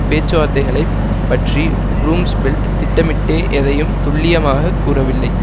பேச்சுவார்த்தைகளை பற்றி ரும்ஸ்பெல்ட் திட்டமிட்டே எதையம் துல்லியமாக கூறவில்லை